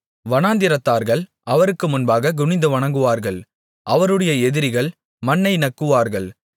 வனாந்திரத்தார்கள் அவருக்கு முன்பாகக் குனிந்து வணங்குவார்கள் அவருடைய எதிரிகள் மண்ணை நக்குவார்கள்